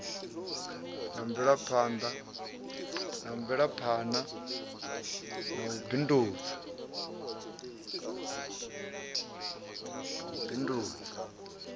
na mvelaphana na u bindudza